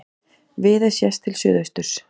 Viðey séð til suðausturs.